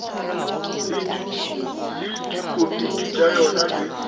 le dikomiti tša yona le